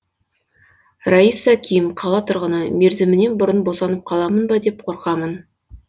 раиса ким қала тұрғыны мерзімімнен бұрын босанып қаламын ба деп қорқамын